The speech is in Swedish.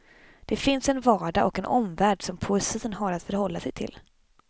Det finns en vardag och en omvärld som poesin har att förhålla sig till.